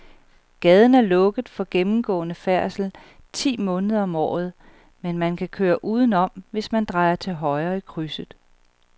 Gaden er lukket for gennemgående færdsel ti måneder om året, men man kan køre udenom, hvis man drejer til højre i krydset.